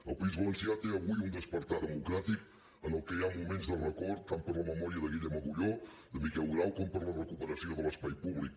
el país valencià té avui un despertar democràtic en el qual hi ha moments de record tant per la memòria de guillem agulló de miquel grau com per la recuperació de l’espai públic